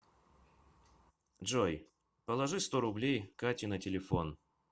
джой положи сто рублей кате на телефон